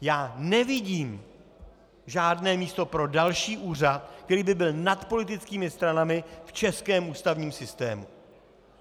Já nevidím žádné místo pro další úřad, který by byl nad politickými stranami v českém ústavním systému.